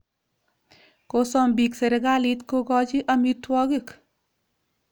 Kosom piik sirikalit kokochi amitwogik.